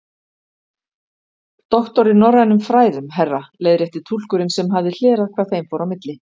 Doktor í norrænum fræðum, herra leiðrétti túlkurinn sem hafði hlerað hvað þeim fór á milli.